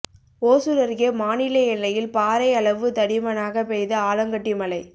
ஓசூர் அருகே மாநில எல்லையில் பாறை அளவு தடிமனாக பெய்த ஆலங்கட்டி மழை